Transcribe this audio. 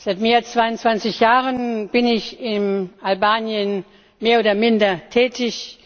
Seit mehr als 22 Jahren bin ich in Albanien mehr oder minder tätig.